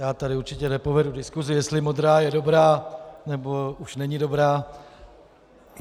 Já tady určitě nepovedu diskusi, jestli modrá je dobrá nebo už není dobrá.